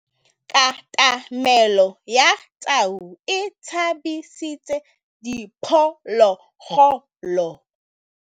Katamêlô ya tau e tshabisitse diphôlôgôlô.